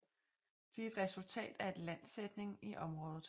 De er et resultat af en landsænkning i området